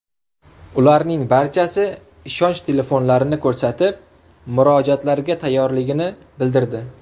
Ularning barchasi ishonch telefonlarini ko‘rsatib, murojaatlarga tayyorligini bildirdi.